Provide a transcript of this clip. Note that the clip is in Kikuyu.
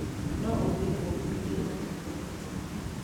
No ũgie ũngĩhutia handũ hena ngĩko.